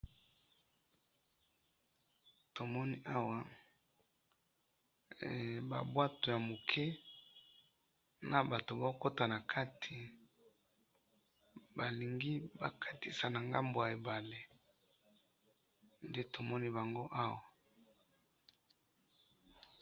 Tomoni awa, eh! Babwato ya muke nabato baokota nakati, balingi bakatisa nangambo ya ebale, nde tomoni bango awa.